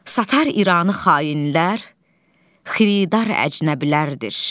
Satar İranı xainlər, xiridar əcnəbilərdir.